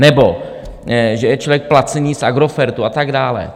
Nebo že je člověk placen z Agrofertu a tak dále.